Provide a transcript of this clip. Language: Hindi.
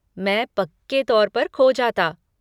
मैं पक्के तौर पर खो जाता।